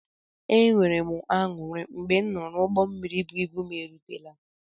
E nwere m añụrị mgbe m nụrụ na ụgbọ mmiri bụ ịbụ m erutela.